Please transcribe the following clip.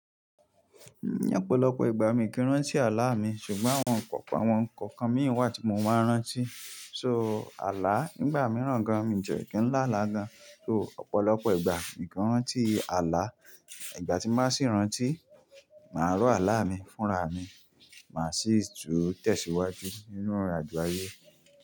Ní ọ̀pọ̀lọpọ̀ ìgbà mi kì í rántí àlá mi, ṣùgbọ́n àwọn kọ̀ọ̀kan, àwọn kọ̀ọ̀kan mi wà tí mo máa ń rántí. So àlá nígbà mìíràn gan, mi jẹ̀ kí ń lála gan, so ọ̀pọ̀lọpọ̀ ìgbà mi kò rántí àlá. Ìgbà tí má sì ń rántí, màá rò àlá mi fúnra mi, màá sì tò tẹ̀síwájú nínú irinàjò ayé.